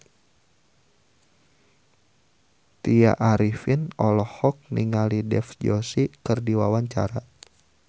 Tya Arifin olohok ningali Dev Joshi keur diwawancara